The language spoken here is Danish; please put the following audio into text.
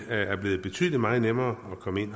er blevet betydelig meget nemmere at komme ind